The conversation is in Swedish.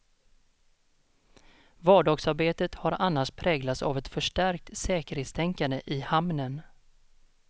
Vardagsarbetet har annars präglats av ett förstärkt säkerhetstänkande i hamnen.